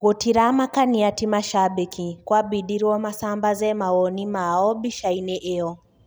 Gũtiramakania ti mashabeki kwabidirwo masambaze mawoni mao mbica-ini iyo